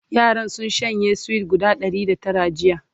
yaran sun shanye sweet guda Ɗari da Tara jiya